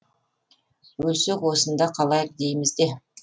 өлсек осында қалайық дейміз де